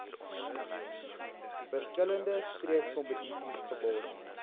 verskillende streekskompetisies geborg